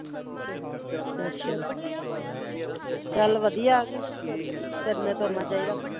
ਅੱਛਾ ਚੱਲ ਵਧੀਆ ਕਿ ਫਿਰਨਾ ਤੁਰਨਾ ਚਾਹੀਦਾ